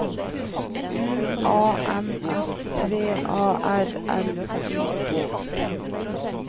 U A N S V A R L I G